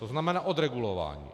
To znamená odregulování.